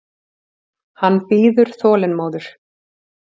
Hann bíður þolinmóður.